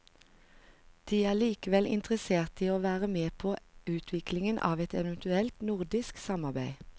De er likevel interesserte i å være med på utviklingen av et eventuelt nordisk samarbeid.